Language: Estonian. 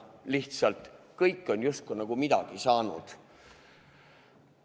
Lihtsalt kõik on justkui midagi saanud.